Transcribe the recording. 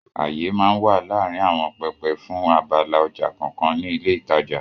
Àyè máa ń wà láàárín àwọn pẹpẹ fún abala ọjà kọ̀ọ̀kan ní ilé ìtajà.